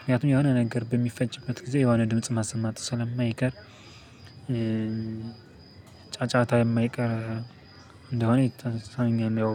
ምክያቱም የሆነ ነገር በሚፈጭበት ጊዜ የሆነ ድምጽ ማሰማቱ ስለማይቀር ጨጫታ የማይቀር እንደሆነ ይታ ያው